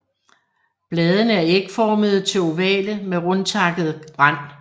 Bladene er ægformede til ovale med rundtakket rand